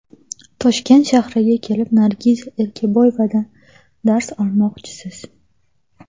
Toshkent shahriga kelib Nargiza Erkaboyevadan dars olmoqchisiz.